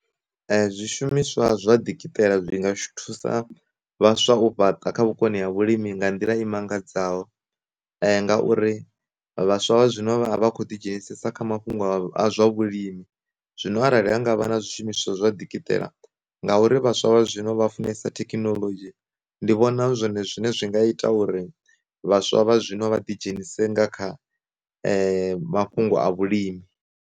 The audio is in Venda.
E, zwi shumiswa zwa dikitela zwi nga zwi thusa vhaswa u fhaṱa vhukoni ha vhulimi nga nḓila i mangadzaho, ngauri vhaswa vha zwino vha vha khou ḓi dzhenisa kha mafhungo a zwa vhulimi, zwino arali ha ngavha na zwishumiswa zwa dikitela, ngauri vhaswa vha zwino vha funesa thekinoḽodzhi, ndi vhona zwone zwine zwi nga ita uri vhaswa vha zwino vha ḓi dzhenise nga kha mafhungo a vhulimi.